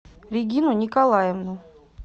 регину николаевну